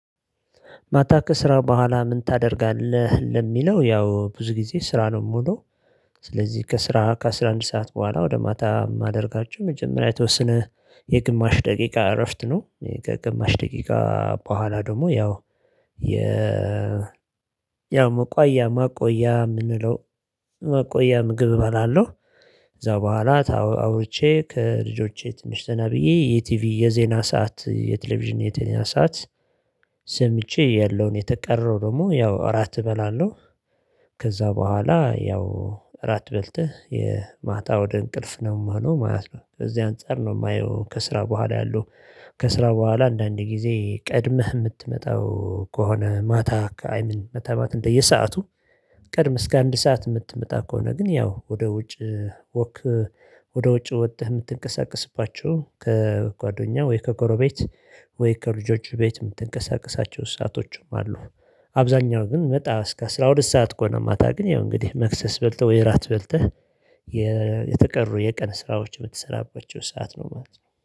ማታ ከስራ በኋላ ምን ታደርጋለህ? ለሚለው ያው ብዙ ጊዜ ስራ ነው ምዉለው። ስለዚህ ከስራ ከአሥራ አንድ ሰዓት በኋላ ወደ ማታ የማደርጋቸው መጀመሪያ የተወሰነ የግማሽ ደቂቃ እረፍት ነው። ከግማሽ ደቂቃ በኋላ ደግሞ ያው የ ያው መቆያ የምንለው መቆያ ምግብ እባላለሁ። ከዚያ በኋላ አውርቼ ከልጆቼ ትንሽ ዘናብዬ የቲቪ የዜና ሰዓት የቴሌቪዥን ሰዓት። ሰምቼ ያለውን የቀረውን ደግሞ ያው እራት እበላለሁ። ከዚያ በኋላ ያው እራት በልተህ ማታ ወደ እንቅልፍ ነው ምሄደው ማለት ነው። ከዚህ አንፃር ነው የማየው። ከስራ በኋላ ያለው። ከስራ በኋላ አንዳንድ ጊዜ ቀድመህ የምትመጣው ከሆነ ማታ አይምን እንደየ ሰዓቱ። ቀድመህ እስከ አንድ ሰዓት የምትመጣ ከሆነ ግን ያው ወደ ውጭ ወክ። ወደ ውጭ ወጥህ የምትንቀሳቀስባቸው ከጓደኛ ወይ ከጎረቤት ወይ ከልጆች ቤት የምትንቀሳቀሳቸው ሰአቶችም አሉ። አብዛኛው ግን እስከ አስራ ሁለት ሰዓት ከሆነ ማታ ግን ያው እንግዲህ መክሰስ በልተህ ወይ እራት በልተህ። የተቀሩ የቀን ስራዎች ምትሰራባቸው ሰዓት ነው ማለት ነው